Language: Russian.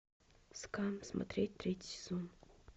скам смотреть третий сезон